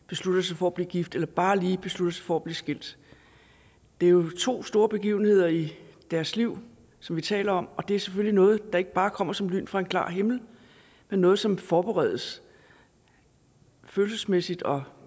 beslutter sig for at blive gift eller bare lige beslutter sig for at blive skilt det er jo to store begivenheder i deres liv som vi taler om og det er selvfølgelig noget der ikke bare kommer som lyn fra en klar himmel men noget som forberedes følelsesmæssigt og